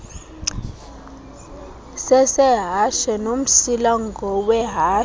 sesehashe nomsila ngowehashe